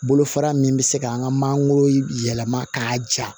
Bolo fara min bɛ se k'an ka mangoro yɛlɛma k'a ja